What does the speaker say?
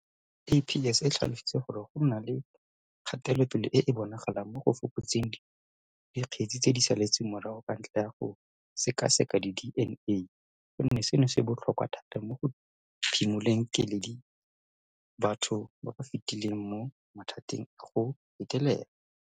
SAPS e tlhalositse gore go na le kgatelopele e e bonagalang mo go fokotseng dikgetse tse di saletseng morago ka ntlha ya go sekaseka di DNA, gonne seno se botlhokwa thata mo go phimoleng keledi batho ba ba fetileng mo mathateng a go betelelwa.